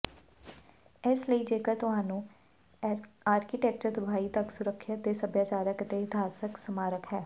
ਇਸ ਲਈ ਜੇਕਰ ਤੁਹਾਨੂੰ ਆਰਕੀਟੈਕਚਰ ਤਬਾਹੀ ਤੱਕ ਸੁਰੱਖਿਅਤ ਦੇ ਸਭਿਆਚਾਰਕ ਅਤੇ ਇਤਿਹਾਸਕ ਸਮਾਰਕ ਹੈ